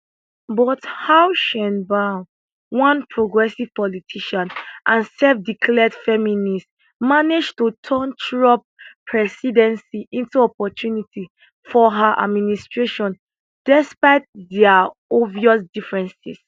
but how sheinbaum one progressive politician and selfdeclared feminist manage to turn trump presidency into opportunity for her administration despite dia obvious differences